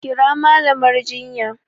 Kira Mallamar jinya!